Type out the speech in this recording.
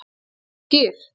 Viltu ekki skyr?